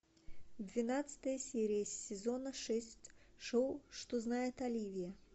двенадцатая серия сезона шесть шоу что знает оливия